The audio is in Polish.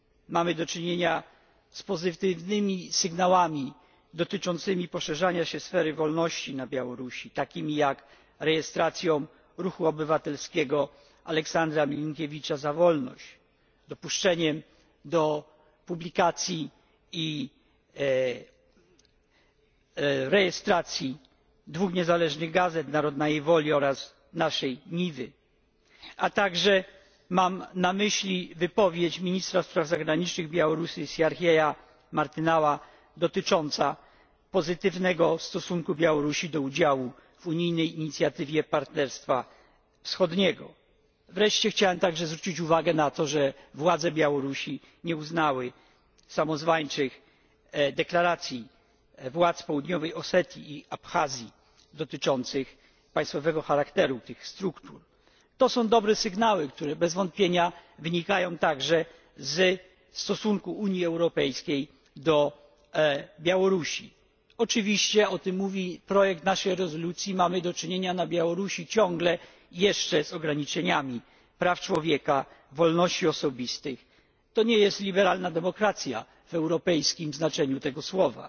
Mamy do czynienia z pozytywnymi sygnałami dotyczącymi poszerzania się sfery wolności na Białorusi, takimi jak rejestracja ruchu obywatelskiego Aleksandra Milinkiewicza Za wolność, dopuszczenie do publikacji i rejestracji dwóch niezależnych gazet Narodnajej Woli oraz Naszej Niwy. Mam także na myśli wypowiedź ministra spraw zagranicznych Białorusi Siarhieja Martynaua dotyczącą pozytywnego stosunku Białorusi do udziału w unijnej inicjatywie partnerstwa wschodniego. Wreszcie chciałem także zwrócić uwagę na to, że władze Białorusi nie uznały samozwańczych deklaracji władz Południowej Osetii i Abchazji dotyczących państwowego charakteru tych struktur. To są dobre sygnały, które bez wątpienia wynikają także ze stosunku Unii Europejskiej do Białorusi. Oczywiście, o tym mówi projekt naszej rezolucji ciągle jeszcze mamy do czynienia na Białorusi z ograniczeniami praw człowieka, wolności osobistych. To nie jest liberalna demokracja w europejskim znaczeniu tego